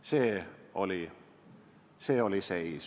Selline oli seis.